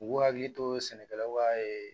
U k'u hakili to sɛnɛkɛlaw ka